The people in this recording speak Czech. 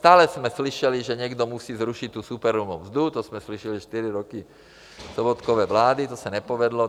Stále jsme slyšeli, že někdo musí zrušit tu superhrubou mzdu, to jsme slyšeli čtyři roky Sobotkovy vlády, to se nepovedlo.